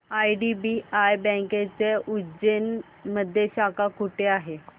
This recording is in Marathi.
आयडीबीआय बँकेची उज्जैन मध्ये शाखा कुठे आहे